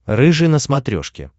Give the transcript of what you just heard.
рыжий на смотрешке